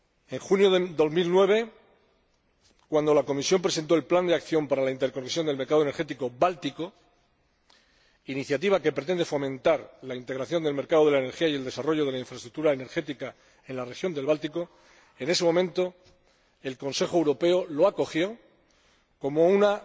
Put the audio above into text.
En julio de 2009, cuando la Comisión presentó el plan de acción para la interconexión del mercado energético báltico, iniciativa que pretende fomentar la integración del mercado de la energía y el desarrollo de la infraestructura energética en la región del Báltico, el Consejo Europeo lo acogió como una